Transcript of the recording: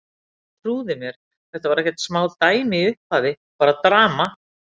En trúðu mér, þetta var ekkert smá dæmi í upphafi, bara drama.